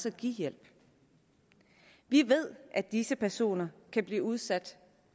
at give hjælp vi ved at disse personer kan blive udsat